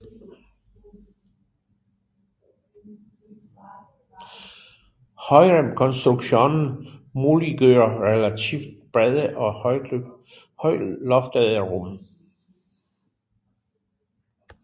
Højremskonstruktionen muliggør relativt brede og højloftede rum